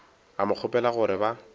a mo kgopela gore ba